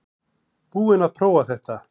Búinn að prófa þetta